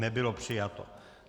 Nebylo přijato.